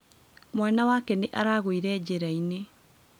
Mwana wake nĩ aragũire njĩra-inĩ.